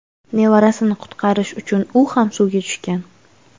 Nevarasini qutqarish uchun u ham suvga tushgan.